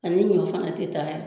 A ni munnan fan a tɛ taaga.